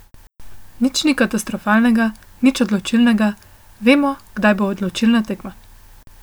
Nič ni katastrofalnega, nič odločilnega, vemo, kdaj bo odločilna tekma.